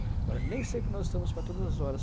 Agora, nem sempre nós estamos para todas as horas.